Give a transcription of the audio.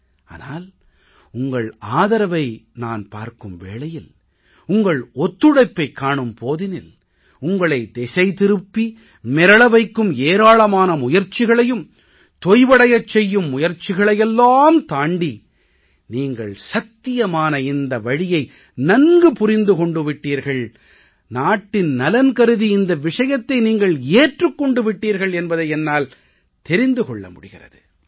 ஆனால் உங்கள் ஆதரவை நான் பார்க்கும் வேளையில் உங்கள் ஒத்துழைப்பைக் காணும் போதினில் உங்களை திசை திருப்பி மிரள வைக்கும் ஏராளமான முயற்சிகளையும் தொய்வடைய வைக்கும் முயற்சிகளையெல்லாம் தாண்டி நீங்கள் சத்தியமான இந்த வழியை நன்கு புரிந்து கொண்டு விட்டீர்கள் நாட்டு நலன் கருதி இந்த விஷயத்தை நீங்கள் ஏற்றுக் கொண்டு விட்டீர்கள் என்பதை என்னால் தெரிந்து கொள்ள முடிகிறது